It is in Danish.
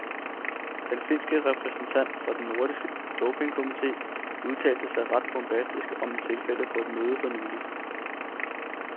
Den finske repræsentant for den nordiske dopingkomité udtalte sig ret bombastisk om tilfældet på et møde for nyligt.